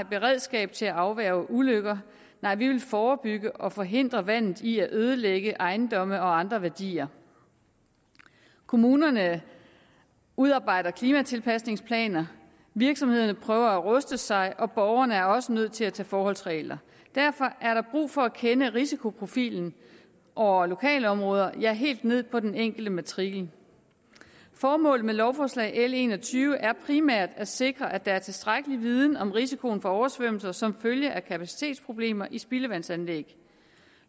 beredskab til at afværge ulykker nej vi vil forebygge og forhindre vandet i at ødelægge ejendomme og andre værdier kommunerne udarbejder klimatilpasningsplaner virksomhederne prøver at ruste sig og borgerne er også nødt til at tage forholdsregler derfor er der brug for at kende risikoprofilerne over lokalområder ja helt ned på den enkelte matrikel formålet med lovforslag l en og tyve er primært at sikre at der er tilstrækkelig viden om risikoen for oversvømmelser som følge af kapacitetsproblemer i spildevandsanlæg